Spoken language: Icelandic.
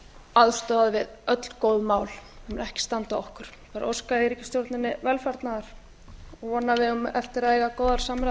aðstoða við öll góð mál það mun ekki standa á okkur svo bara óska ég ríkisstjórninni velfarnaðar og vona að